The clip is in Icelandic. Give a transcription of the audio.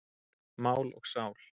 Mál og sál.